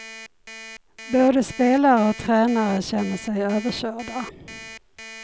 Både spelare och tränare känner sig överkörda.